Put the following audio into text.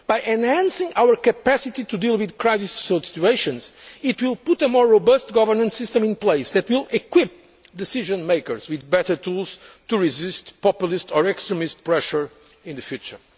of Europe. By enhancing our capacity to deal with crisis situations, it will put a more robust governance system in place that will equip decision makers with better tools to resist populist or extremist pressure in